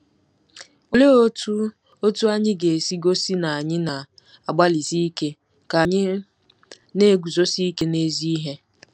Olee otú otú anyị ga-esi gosi na anyị na-agbalịsi ike ka anyị na-eguzosi ike n’ezi ihe?